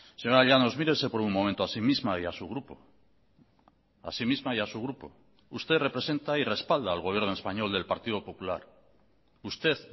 señora llanos mírese por un momento a sí misma y a su grupo a sí misma y a su grupo usted representa y respalda al gobierno español del partido popular usted